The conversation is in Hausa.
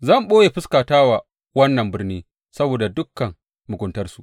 Zan ɓoye fuskata wa wannan birni saboda dukan muguntarsu.